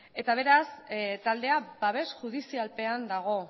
eta beraz taldea babes judizialpean dago